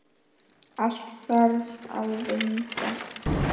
Allt þarf að vinda.